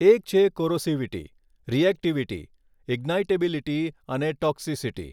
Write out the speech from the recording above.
એક છે corrosivity reactivity ignitability અને ટોક્સિસિટી.